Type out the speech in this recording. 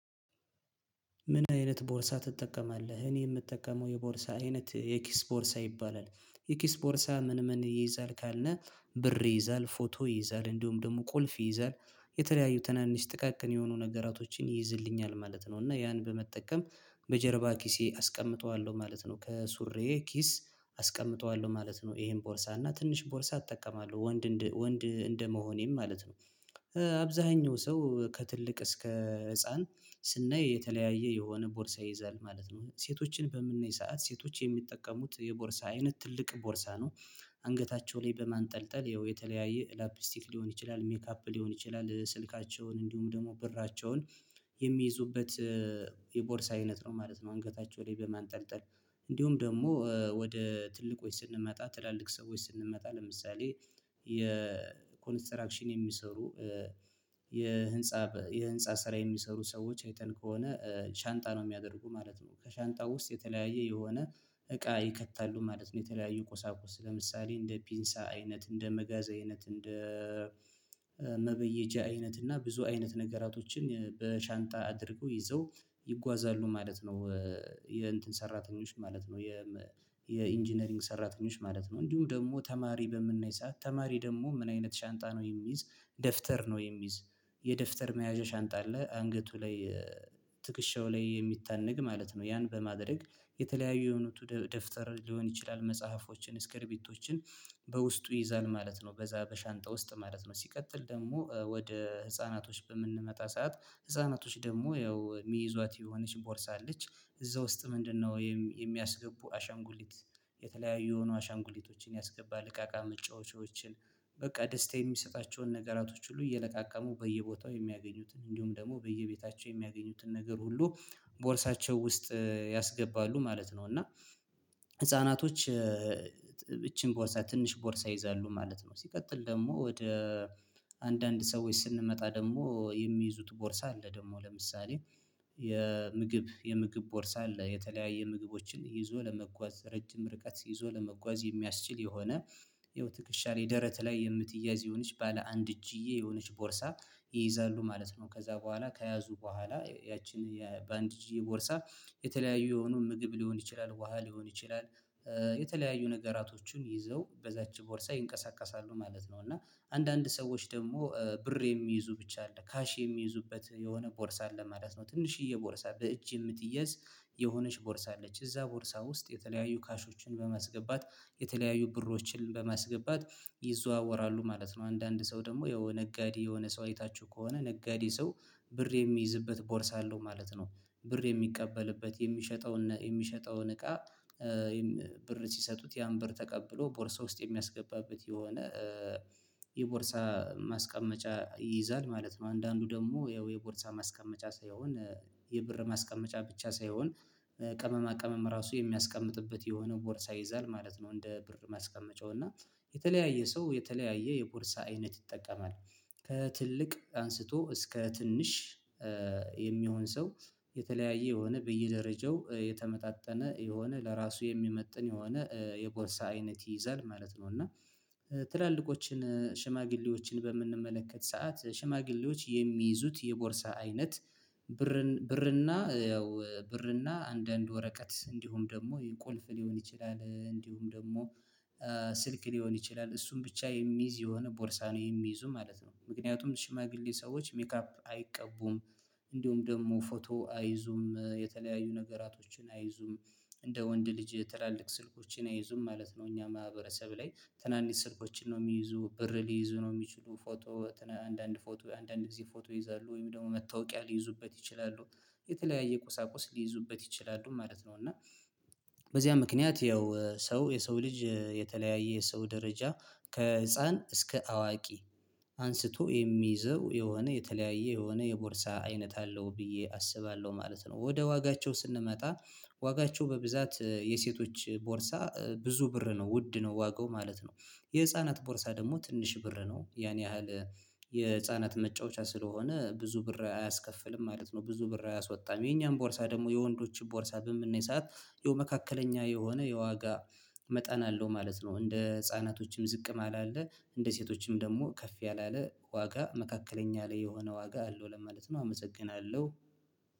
ምን አይነት ቦርሳ ትጠቀማለህ እኔ የምጠቀመው የቦርሳ አይነት የኪስ ቦርሳ ይባላል የኪስ ቦርሳ ምን ምን ይይዛል? ካልነ ብር ይይዛል ፎቶ ይይዛል እንዲሁም ደግሞ ቁልፍ ይይዛል የተለያዩ ትናንሽ ጥቃቅን የሆኑ ነገራቶችን ይይዝልኛል ማለት ነው እና ያን በመጠቀም በጀርባ ኪሴ አስቀምጠዋለሁ ማለት ነው። ከሱሬ ኪስ አስቀምጠዋለሁ ማለት ነው ይሄን ቦርሳ እና ትንሽ ቦርሳ እጠቀማለሁ ወንድ እንደመሆኔም ማለት ነው። አብዛኛው ሰው ከትልቅ እስከ ህፃን ስናይ የተለያየ የሆነ ቦርሳ ይይዛል ማለት ነው ሴቶችን በምናይ ሰዓት ሴቶች የሚጠቀሙት የቦርሳ አይነት ትልቅ ቦርሳ ነው። አንገታቸው ላይ በማንጠልጠል ያው የተለያየ ላፕስቲክ ሊሆን ይችላል ሜካፕ ሊሆን ይችላል ስልካቸውን እንዲሁም ደግሞ ብራቸውን የሚይዙበት የቦርሳ አይነት ነው ማለት ነው። አንገታቸው ላይ በማንጠልጠል እንዲሁም ደግሞ ወደ ትልቆች ስንመጣ ትላልቅ ሰዎች ስንመጣ ለምሳሌ የኮንስትራክሽን የሚሰሩ የህንፃ የህንፃ ስራ የሚሰሩ ሰዎች አይተን ከሆነ ሻንጣ ነው የሚያደርጉ ማለት ነው። ከሻንጣው ውስጥ የተለያየ የሆነ እቃ ይከታሉ ማለት ነው የተለያየ ቁሳቁስ ለምሳሌ እንደ ፒንሳ አይነት እንደ መጋዛ አይነት እንደ መበየጃ አይነት እና ብዙ አይነት ነገሮቶችን በሻንጣ አድርገው ይዘው ይጓዛሉ ማለት ነው። የእንትን ሰራተኞች ማለት ነው የ የኢንጂነሪንግ ሰራተኞች ማለት ነው። እንዲሁም ደግሞ ተማሪ በምናይ ሰዓት ተማሪ ደግሞ ምን አይነት ሻንጣ ነው የሚይዝ ደፍተር ነው የሚይዝ የደፍተር መያዣ ሻንጣ ላይ አንገቱ ላይ ትክሸው ላይ የሚታነግ ማለት ነው። ያን በማድረግ የተለያዩ የሆኑ ደፍተር ሊሆን ይችላል መጽሐፎችን ስክርቢቶችን በውስጡ ይዛል ማለት ነው። በዛ በሻንጣ ውስጥ ማለት ነው ሲቀጥል ደግሞ ወደ ህፃናቶች በምንመጣ ሰዓት ህፃናቶች ደግሞ ያው የሚይዟት የሆነች ቦርሳ አለች። እዛ ውስጥ ምንድነው የሚያስገቡ አሻንጉሊት? የተለያዩ የሆኑ አሻንጉሊቶችን ያስገባ እቃቃ መጫወቻዎችን በቃ ደስታ የሚሰጣቸውን ነገራቶች ሁሉ እየለቃቀሙ በየቦታው የሚያገኙትን እንዲሁም ደግሞ በየቤታቸው የሚያገኙትን ነገር ሁሉ ቦርሳቸው ውስጥ ያስገባሉ ማለት ነው። እና ህፃናቶች ይቺን ቦርሳ ትንሽ ቦርሳ ይይዛሉ ማለት ነው። ሲቀጥል ደግሞ ወደ አንዳንድ ሰዎች ስንመጣ ደግሞ የሚይዙት ቦርሳ አለ ደግሞ ለምሳሌ የምግብ የምግብ ቦርሳ አለ የተለያየ ምግቦችን ይዞ ለመጓዝ ረጅም ርቀት ይዞ ለመጓዝ የሚያስችል የሆነ ይኸው ትክሻ ላይ ደረት ላይ የምትያዝ ይሆንሽ ባለ አንድ እጅ የሆነች ቦርሳ ይይዛሉ ማለት ነው። ከዛ በኋላ ከያዙ በኋላ ያቺን በአንድ የቦርሳ የተለያዩ የሆኑ ምግብ ሊሆን ይችላል ውሃ ሊሆን ይችላል የተለያዩ ነገራቶቹን ይዘው በዛች ቦርሳ ይንቀሳቀሳሉ ማለት ነው። እና አንዳንድ ሰዎች ደግሞ ብር የሚይዙ ብቻ አለ ካሽ የሚይዙበት የሆነ ቦርሳ አለ ማለት ነው። ትንሽዬ ቦርሳ በእጅ የምትያዝ የሆነች ቦርሳ አለች እዛ ቦርሳ ውስጥ የተለያዩ ካሾችን በመስገባት የተለያዩ ብሮችን በመስገባት ይዘዋወራሉ ማለት ነው። አንዳንድ ሰው ደግሞ የነጋዴ የሆነ ሰው አይታችሁ ከሆነ ነጋዴ ሰው ብር የሚይዝበት ቦርሳ አለው ማለት ነው። ብር የሚቀበልበት የሚሸጠውን የሚሸጠውን እቃ ብር ሲሰጡት ያን ብር ተቀብሎ ቦርሳ ውስጥ የሚያስገባበት የሆነ የቦርሳ ማስቀመጫ ይይዛል ማለት ነው። አንዳንዱ ደግሞ ያው የቦርሳ ማስቀመጫ ሳይሆን የብር ማስቀመጫ ብቻ ሳይሆን ቀመማ ቅመም ራሱ የሚያስቀምጥበት የሆነ ቦርሳ ይይዛል ማለት ነው። እንደ ብር ማስቀመጫው እና የተለያየ ሰው የተለያየ የቦርሳ አይነት ይጠቀማል። ከትልቅ አንስቶ እስከ ትንሽ የሚሆን ሰው የተለያየ የሆነ በየደረጃው የተመጣጠነ የሆነ ለራሱ የሚመጥን የሆነ የቦርሳ አይነት ይይዛል ማለት ነው። እና ትላልቆችን ሽማግሌዎችን በምንመለከት ሰዓት ሽማግሌዎች የሚይዙት የቦርሳ አይነት ብርን ብርና ያው ብርና አንዳንድ ወረቀት እንዲሁም ደግሞ የቁልፍ ሊሆን ይችላል እንዲሁም ደግሞ ስልክ ሊሆን ይችላል እሱን ብቻ የሚይዝ የሆነ ቦርሳ ነው የሚይዙ ማለት ነው። ምክንያቱም ሽማግሌ ሰዎች ሜካፕ አይቀቡም። እንዲሁም ደግሞ ፎቶ አይዙም የተለያዩ ነገራቶችን አይዙም። እንደ ወንድ ልጅ ትላልቅ ስልኮችን አይዙም ማለት ነው። እኛ ማህበረሰብ ላይ ትናንሽ ስልኮችን ነው የሚይዙ ብር ሊይዙ ነው የሚችሉ ፎቶ አንዳንድ ፎቶ አንዳንድ እዚህ ፎቶ ይይዛሉ ወይም ደግሞ መታወቂያ ሊይዙበት ይችላሉ። የተለያየ ቁሳቁስ ሊይዙበት ይችላሉ ማለት ነው እና በዚያ ምክንያት ያው ሰው የሰው ልጅ የተለያየ የሰው ደረጃ ከህፃን እስከ አዋቂ አንስቶ የሚይዘው የሆነ የተለያየ የሆነ የቦርሳ አይነት አለው ብዬ አስባለሁ ማለት ነው። ወደ ዋጋቸው ስንመጣ ዋጋቸው በብዛት የሴቶች ቦርሳ ብዙ ብር ነው ውድ ነው ዋጋው ማለት ነው። የህፃናት ቦርሳ ደግሞ ትንሽ ብር ነው ያን ያህል የህፃናት መጫወቻ ስለሆነ ብዙ ብር አያስከፍልም ማለት ነው። ብዙ ብር አያስወጣም የኛም ቦርሳ ደግሞ የወንዶችም ቦርሳ በምን የሰዓት የው መካከለኛ የሆነ የዋጋ መጠን አለው ማለት ነው። እንደ ህፃናቶችም ዝቅም አላለ እንደ ሴቶችም ደግሞ ከፍ ያላለ ዋጋ መካከለኛ ላይ የሆነ ዋጋ አለው። ለምሳሌ ማለት ነው አመሰግናለሁ።